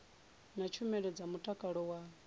na tshumelo dza mutakalo wa